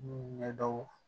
Ɲɛdaw